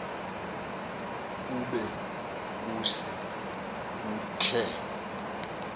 kube kuse kuthe